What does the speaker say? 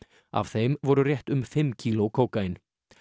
af þeim voru rétt um fimm kíló kókaín